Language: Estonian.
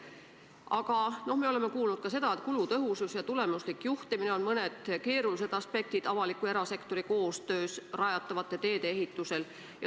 Aga me oleme kuulnud ka seda, et kulutõhusus ja tulemuslik juhtimine on mõneti keerulised aspektid avaliku ja erasektori koostöös rajatavate teede ehitusel.